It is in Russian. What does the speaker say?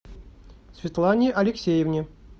светлане алексеевне